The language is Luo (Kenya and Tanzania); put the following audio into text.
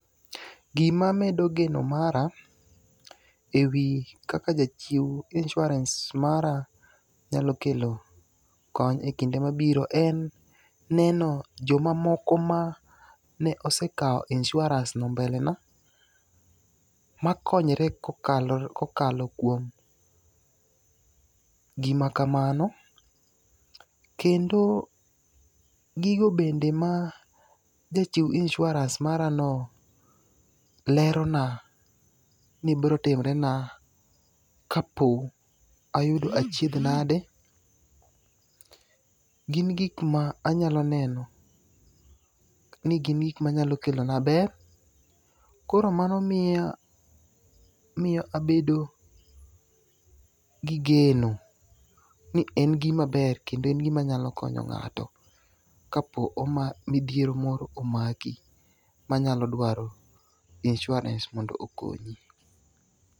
Gimamedo geno mara e wi kaka jachew insurans mara nyalokelo kony e kinde mabiro en neno jomamoko ma ne osekaw insurans no mbele na. Makonyore kokalo kuom gimakamano. Kendo gigo bende ma jachew insurans mara no lero na ni birotimre na ka po ayudo achiedh nade. Gin gik ma anyalo neno ni gin gik manyalo kelona ber. Koro mano miyo abedo gi geno ni en gima ber kendo en gima nyalokonyo ng'ato kapo ni midhiero moro omaki manyalo dwaro insurans mondo okonyi.